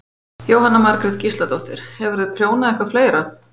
Jóhanna Margrét Gísladóttir: Hefurðu prjónað eitthvað fleira?